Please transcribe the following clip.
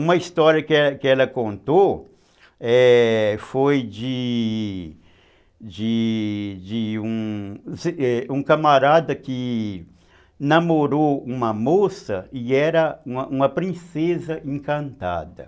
Uma história que que ela contou, ´é, foi de de de um um camarada que namorou uma moça e era uma uma princesa encantada.